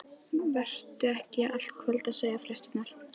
Vertu ekki í allt kvöld að segja fréttirnar.